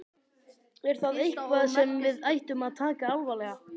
Er það eitthvað sem við ættum að taka alvarlega?